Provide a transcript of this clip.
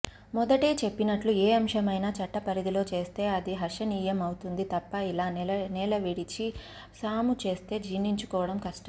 మొదటే చెప్పినట్లు ఏ అంశమైనా చట్టపరిధిలో చేస్తే అది హర్షణీయం అవుతుంది తప్ప ఇలా నేలవిడిచి సాముచేస్తే జీర్ణించుకోడం కష్టం